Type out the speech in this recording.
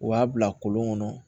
U b'a bila kolon kɔnɔ